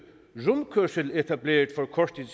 rundkørsel etableret for kort